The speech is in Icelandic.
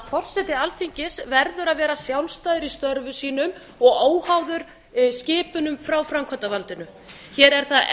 forseti alþingis verður að vera sjálfstæður í störfum sínum og óháður í skipunum frá framkvæmdarvaldinu hér er það enn